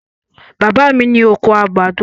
Bàbá mi ní oko àgbàdo.